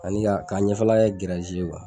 Ani ka, ka ɲɛfɛla kɛ